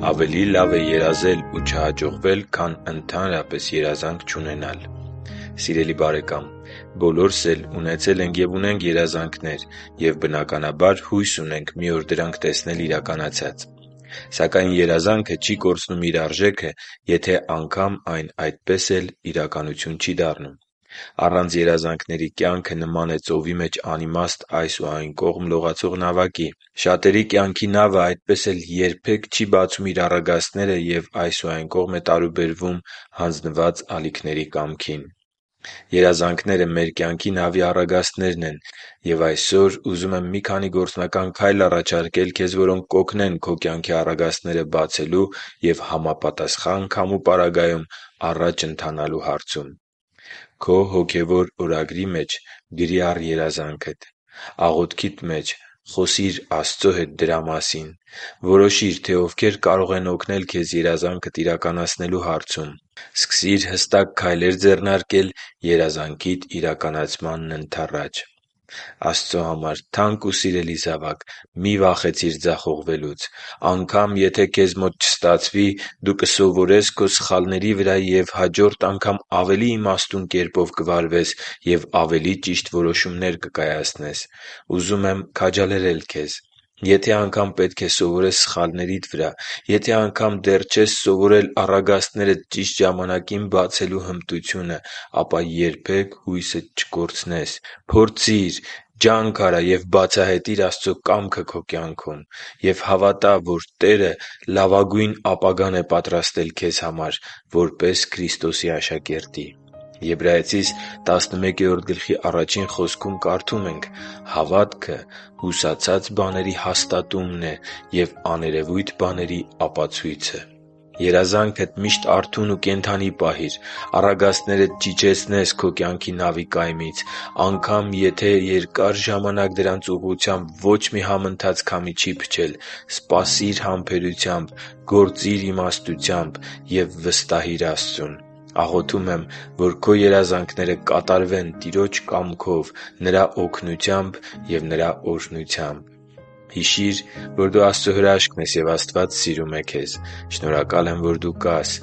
Ավելի լավ է երազել ու չհաջողվել, քան ընդհանրապես երազանք չունենալ Սիրելի՛ բարեկամ, բոլորս էլ ունեցել ենք և ունենք երազանքներ և, բնականաբար, հույս ունենք մի օր դրանք տեսնել իրականացած: Սակայն երազանքը չի կորցնում իր արժեքը, եթե անգամ այն այդպես էլ իրականություն չի դառնում։ Առանց երազանքների կյանքը նման է ծովի մեջ անիմաստ այս ու այն կողմ լողացող նավակի։ Շատերի կյանքի նավը այդպես էլ երբեք չի՛ բացում իր առագաստները և այս ու այն կողմ է տարուբերվում՝ հանձնված ալիքների կամքին։ Երազանքները մեր կյանքի նավի առագաստներն են։ Եվ այսօր ուզում եմ մի քանի գործնական քայլ առաջարկել քեզ, որոնք կօգնեն քո կյանքի առագաստները բացելու և համապատասխան քամու պարագայում առաջ ընթանալու հարցում։ • Քո հոգևոր օրագրի մեջ գրի՛ առ երազանքդ: • Աղոթքիդ մեջ խոսի՛ր Աստծո հետ դրա մասին: • Որոշի՛ր, թե ովքեր կարող են օգնել քեզ երազանքդ իրականացնելու հարցում: • Սկսի՛ր հստակ քայլեր ձեռնարկել երազանքիդ իրականացմանն ընդառաջ: Աստծո համար թանկ ու սիրելի՛ զավակ, մի՛ վախեցիր ձախողվելուց: Անգամ եթե քեզ մոտ չստացվի, դու կսովորես քո սխալների վրա և հաջորդ անգամ ավելի իմաստուն կերպով կվարվես և ավելի ճիշտ որոշումներ կկայացնես: Ուզում եմ քաջալերել քեզ։ Եթե անգամ պետք է սովորես սխալներիդ վրա․․․, եթե անգամ դեռ չես սովորել առագաստներդ ճիշտ ժամանակին բացելու հմտությունը, ապա երբե՛ք հույսդ չկորցնես: Փորձի՛ր, ջանք արա՛ և բացահայտի՛ր Աստծո կամքը քո կյանքում։ Եվ հավատա՛, որ Տերը լավագույն ապագան է պատրաստել քեզ համար որպես Քրիստոսի աշակերտի։ Եբրայեցիս 11․1 խոսքում կարդում ենք. «Հավատը հուսացած բաների հաստատումն ու աներևույթ բաների ապացույցը»։ Երազանքդ միշտ արթուն ու կենդանի պահի՛ր: Առագաստներդ չիջեցնե՛ս քո կյանքի նավի կայմից։ Անգամ եթե երկար ժամանակ դրանց ուղղությամբ ոչ մի համընթաց քամի չի փչել, սպասի՛ր համբերությամբ, գործի՛ր իմաստությամբ և վստահի՛ր Աստծուն։ Աղոթում եմ, որ քո երազանքները կատարվեն Տիրոջ կամքով, Նրա օգնությամբ և Նրա օրհնությամբ: Հիշի՛ր, որ դու Աստծո հրաշքն ես, և Աստված սիրում է քեզ։ Շնորհակալ եմ, որ դու կա՛ս